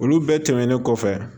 Olu bɛɛ tɛmɛnen kɔfɛ